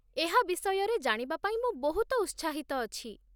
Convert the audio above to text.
ଏହା ବିଷୟରେ ଜାଣିବା ପାଇଁ ମୁଁ ବହୁତ ଉତ୍ସାହିତ ଅଛି ।